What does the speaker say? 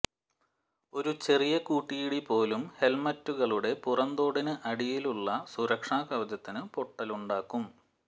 ഒരു ചെറിയ കൂട്ടിയിടി പോലും ഹെല്മെറ്റുകളുടെ പുറംതോടിന് അടിയിലുളള സുരക്ഷാ കവചത്തിന് പൊട്ടലുണ്ടാക്കും